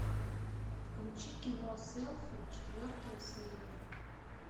включи кино селфи четвертая серия